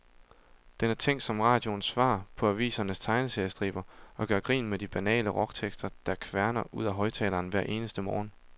Den er tænkt som radioens svar på avisernes tegneseriestriber, og gør grin med de banale rocktekster, der kværner ud af højtaleren hver eneste morgen.